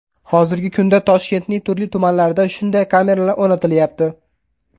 Hozirgi kunda Toshkentning turli tumanlarida shunday kameralar o‘rnatilyapti.